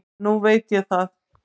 En núna veit ég það.